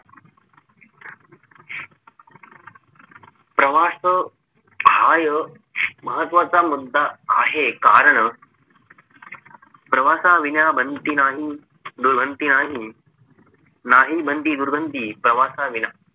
प्रवास हा एक महत्वाचा मुद्दा आहे कारण प्रवासाविना बनती नाही दुबनती नाही बंदी नाही दुर्गंधी प्रवासाविना